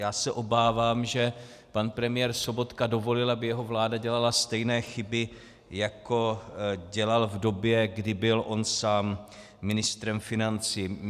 Já se obávám, že pan premiér Sobotka dovolil, aby jeho vláda dělala stejné chyby, jako dělal v době, kdy byl on sám ministrem financí.